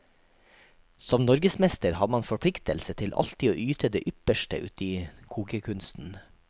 Som norgesmester har man forpliktelse til alltid å yte det ypperste uti kokekunsten.